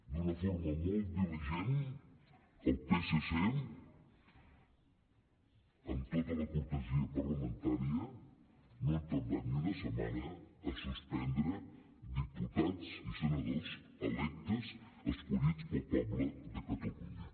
d’una forma molt diligent el psc amb tota la cortesia parlamentària no ha tardat ni una setmana a suspendre diputats i senadors electes escollits pel poble de catalunya